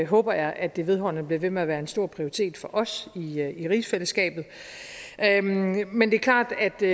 håber jeg at det vedholdende bliver ved med at være en stor prioritet for os i rigsfællesskabet men det er klart at det